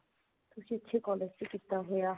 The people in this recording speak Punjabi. ਕਿਸੇ ਅੱਛੇ collage ਚ ਕੀਤਾ ਹੋਇਆ